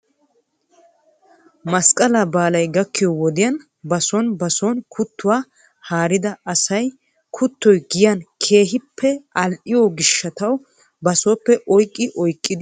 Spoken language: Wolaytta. Masqqalaa baalay gakkiyoo wodiyan bason bason kuttuwaa haarida asay kuttoy giyan keehippe al"iyoo gishshataw basooppe oyqqi oyqqidi ehiyoogan giyan bayzzi agges.